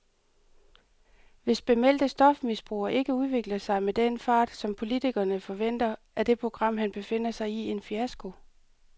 Hvis bemeldte stofmisbrugere ikke udvikler sig med den fart, som politikerne forventer, er det program, han befinder sig i, en fiasko.